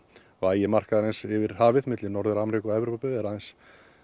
vægi markaðarins yfir hafið milli Norður Ameríku og Evrópu er aðeins